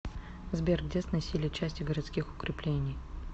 сбер где сносили части городских укреплений